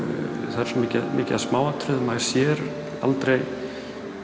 það er svo mikið mikið af smáatriðum maður sér aldrei